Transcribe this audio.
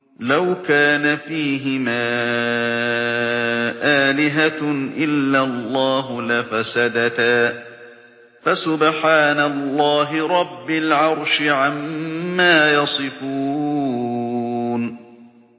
لَوْ كَانَ فِيهِمَا آلِهَةٌ إِلَّا اللَّهُ لَفَسَدَتَا ۚ فَسُبْحَانَ اللَّهِ رَبِّ الْعَرْشِ عَمَّا يَصِفُونَ